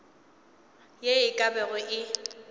ye e ka bago ye